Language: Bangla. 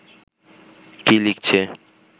কী লিখছে